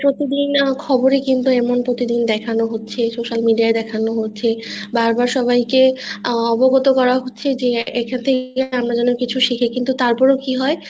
প্রতিদিন খবরে কিন্তু এমন প্রতিদিন দেখানো হচ্ছে social media ই দেখানো হচ্ছে বারবার সবাই কে অবগত করা হচ্ছে এক্ষেত্রে আমরা যেন কিছু শিখি তারপর ও কি হয়